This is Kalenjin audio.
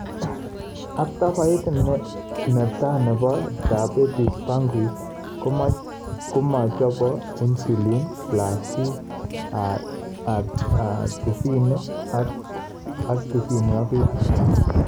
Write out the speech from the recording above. Ak taipit netaa nebo diabetes pancrese komachob insulin+E996